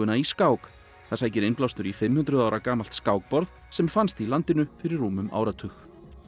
í skák það sækir innblástur í fimm hundruð ára gamalt skákborð sem fannst í landinu fyrir rúmum áratug